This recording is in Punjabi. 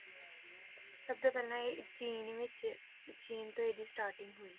ਸਭ ਤੋਂ ਪਹਿਲਾਂ ਇਹ ਚੀਨ ਵਿੱਚ ਚੀਨ ਤੋਂ ਇਹਦੀ starting ਹੋਈ।